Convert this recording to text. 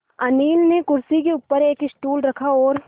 अनिल ने कुर्सी के ऊपर एक स्टूल रखा और